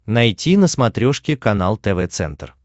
найти на смотрешке канал тв центр